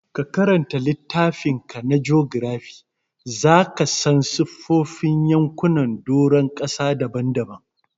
Ka karanta littafinka na jogirafi, za ka san siffofin yankunan doron ƙasa daban-daban.